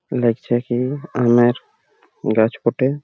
লাগছে কি আমের গাছ বটে।